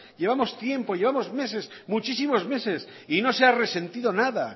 llevamos tiempo llevamos meses muchísimos meses y no se ha resentido nada